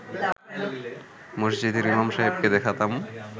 মসজিদের ইমাম সাহেবকে দেখাতাম